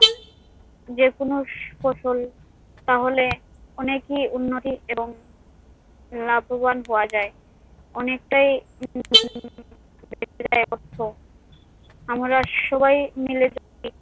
যেকোন ফসল তাহলে অনেকই উন্নতি এবং লাভবান হওয়া যায়। অনেকটাই আমরা সবাই মিলে যদি